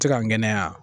Tɛ ka ŋɛɲɛya